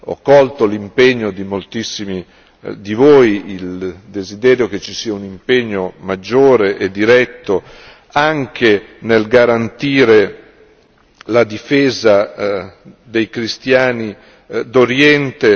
Ho colto l'impegno di moltissimi di voi, il desiderio che ci sia un impegno maggiore e diretto anche nel garantire la difesa dei cristiani d'Oriente.